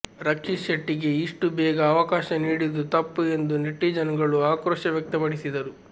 ರಕ್ಷಿತ್ ಶೆಟ್ಟಿಗೆ ಇಷ್ಟು ಬೇಗ ಅವಕಾಶ ನೀಡಿದ್ದು ತಪ್ಪು ಎಂದು ನೆಟಿಜನ್ಗಳು ಆಕ್ರೋಶ ವ್ಯಕ್ತಪಡಿಸಿದ್ದರು